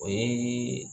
O ye